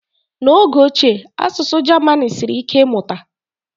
n'oge ochie asụsụ German siri ike ịmụta